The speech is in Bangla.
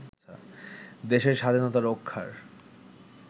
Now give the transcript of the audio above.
দেশের স্বাধীনতা রক্ষার